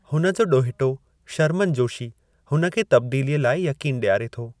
हुन जो ॾोहिटो, शरमन जोशी, हुन खे तब्दीलीअ लाइ यक़ीनु ॾियारे थो।